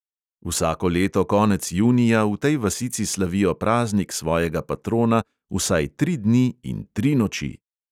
Vsako leto konec junija v tej vasici slavijo praznik svojega patrona vsaj tri dni in tri noči.